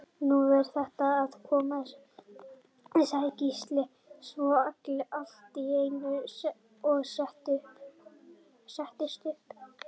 Nú er þetta að koma, sagði Gísli svo allt í einu og settist upp.